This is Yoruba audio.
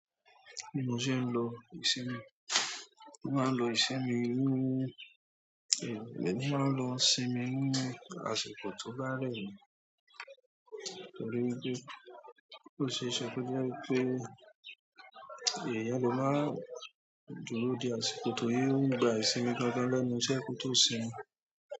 Mo ṣé ń lo ìṣinmí, mo máa ń lo ìṣinmí ni, emi máa ń lo sinmi ní àsìkò tó ba rẹ́ mi, torí pé ó ṣe é ṣe ko je wipé èèyàn le máa dúró di àsìkò tó yí ò ń gba ìsinmi gangan lẹ́nu ṣé kò tó sinmi.